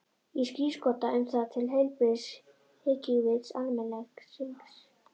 Ég skírskota um það til heilbrigðs hyggjuvits almennings.